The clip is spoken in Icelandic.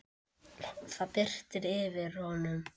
Það birti yfir honum.